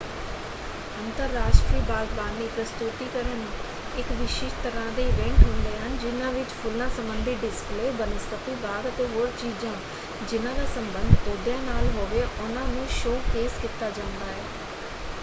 ਅੰਤਰਰਾਸ਼ਟਰੀ ਬਾਗਬਾਨੀ ਪ੍ਰਸਤੁਤੀਕਰਨ ਇੱਕ ਵਿਸ਼ਿਸ਼ਟ ਤਰ੍ਹਾਂ ਦੇ ਇਵੈਂਟ ਹੁੰਦੇ ਹਨ ਜਿਨ੍ਹਾਂ ਵਿੱਚ ਫੁੱਲਾਂ ਸੰਬੰਧੀ ਡਿਸਪਲੇ ਬਨਸਪਤੀ ਬਾਗ ਅਤੇ ਹੋਰ ਚੀਜ਼ਾਂ ਜਿਨ੍ਹਾਂ ਦਾ ਸੰਬੰਧ ਪੌਦਿਆਂ ਨਾਲ ਹੋਵੇ ਉਹਨਾਂ ਨੂੰ ਸ਼ੋ-ਕੇਸ ਕੀਤਾ ਜਾਂਦਾ ਹੈ।